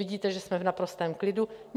Nevidíte, že jsme v naprostém klidu?